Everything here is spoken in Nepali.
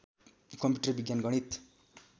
कम्प्युटर विज्ञान गणित